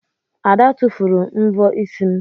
Ada tụfuru mvọ isi m.